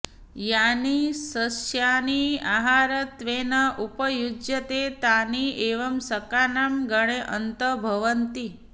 यानि सस्यानि आहारत्वेन उपयुज्यन्ते तानि एव शाकानां गणे अन्तर्भवन्ति